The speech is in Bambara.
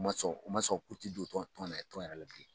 Ma sɔn u ma sɔn k'u tɛ don tɔn tɔn tɔn yɛrɛ la bilen